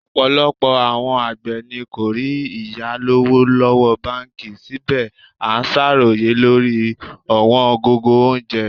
Ọ̀pọ̀lọpọ̀ àwọn àgbẹ̀ ni kò rí ìyáwó lọ́wọ́ báńkì, síbẹ̀ à ń ṣàròyé lórí ọ̀wọ́n gógó oúnjẹ.